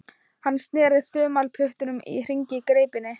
Hann sneri þumalputtunum í hringi í greipinni.